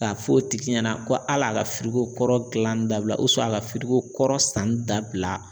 K'a fɔ o tigi ɲɛna ko hal'a ka kɔrɔ gilan dabila a ka kɔrɔ sanni dabila